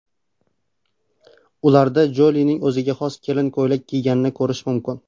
Ularda Jolining o‘ziga xos kelin ko‘ylak kiyganini ko‘rish mumkin.